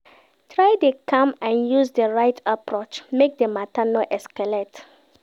Try de calm and use di right approach make di matter no escalate